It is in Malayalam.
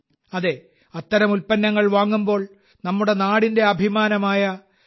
അതെ അത്തരം ഉൽപ്പന്നങ്ങൾ വാങ്ങുമ്പോൾ നമ്മുടെ നാടിന്റെ അഭിമാനമായ യു